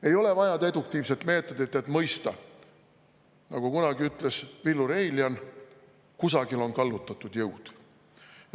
Ei ole vaja deduktiivsest meetodit, et mõista, nagu kunagi ütles Villu Reiljan: kusagil on kallutatud jõud.